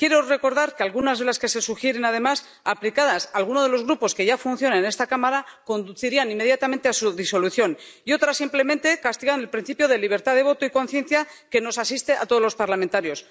Quiero recordar que algunas de las que se sugieren, además, aplicadas a alguno de los grupos que ya existen en esta Cámara conducirían inmediatamente a su disolución, y otras simplemente castigan el principio de libertad de voto y conciencia que nos asiste a todos los parlamentarios.